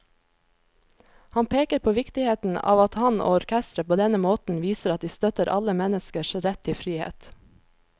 Han peker på viktigheten av at han og orkesteret på denne måten viser at de støtter alle menneskers rett til frihet.